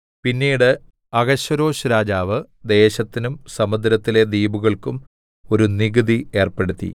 പിന്നീട് അഹശ്വേരോശ്‌ രാജാവ് ദേശത്തിനും സമുദ്രത്തിലെ ദ്വീപുകൾക്കും ഒരു നികുതി ഏർപ്പെടുത്തി